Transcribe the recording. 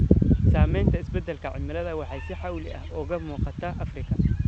Saameynta isbeddelka cimilada waxay si xawli ah uga muuqataa Afrika.